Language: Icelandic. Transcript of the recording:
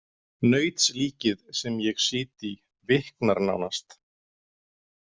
Nautslíkið sem ég sit í viknar nánast.